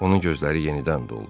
Onun gözləri yenidən doldu.